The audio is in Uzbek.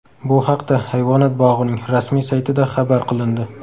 Bu haqda hayvonot bog‘ining rasmiy saytida xabar qilindi .